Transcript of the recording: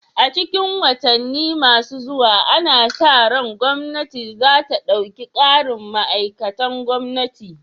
A cikin watanni masu zuwa ana sa ran gwamnati za ta ɗauki ƙarin ma'aikatan gwamnati